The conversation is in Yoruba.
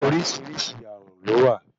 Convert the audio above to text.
Oríṣìíríṣìí ààrùn lówà.